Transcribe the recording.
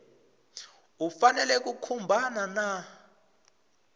u fanele ku khumbana na